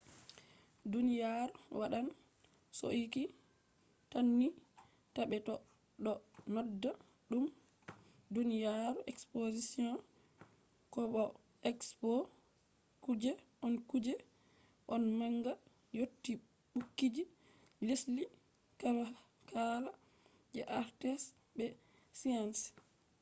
duniyaaru wadan sauki tanni ta be do nodda dum duniyaaru exposition ko bo expo kuje on kuje on manga yotti bukiji lesdi kala kala je arts be sciences